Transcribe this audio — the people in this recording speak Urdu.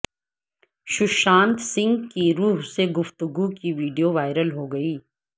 سشانت سنگھ کی روح سے گفتگو کی ویڈیو وائرل ہو گئی